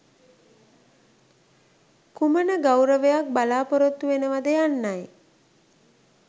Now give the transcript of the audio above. කුමන ගෞරවයක් බලාපොරොත්තු වෙනවද යන්නයි.